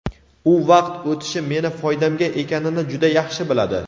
U vaqt o‘tishi meni foydamga ekanini juda yaxshi biladi.